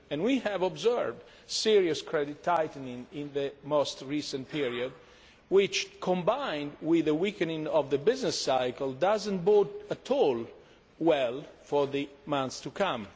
We have observed serious credit tightening in the most recent period which, combined with a weakening of the business cycle, does not bode at all well for the months to come.